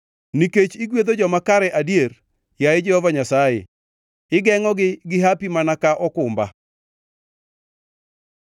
Nikech igwedho joma kare adier, yaye Jehova Nyasaye; igengʼogi gi hapi mana ka okumba.